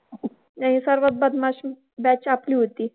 नाही सर्वात बदमाश batch आपली होती.